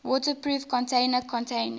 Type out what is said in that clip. waterproof container containing